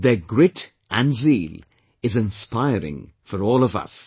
Their grit and zeal, is inspiring for all of us